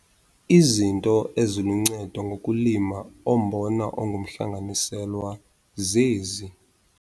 Izinto eziluncedo ngokulima ombona ongumhlanganiselwa zezi.